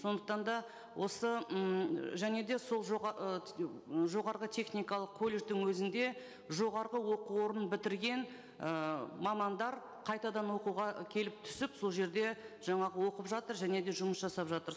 сондықтан да осы ммм және де сол ы жоғарғы техникалық колледждің өзінде жоғарғы оқу орның бітірген ііі мамандар қайтадан оқуға келіп түсіп сол жерде жаңағы оқып жатыр және де жұмыс жасап жытыр